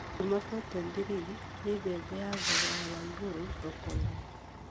Duma 43 nĩ mbembe ya thogora wa igũrũ thoko-inĩ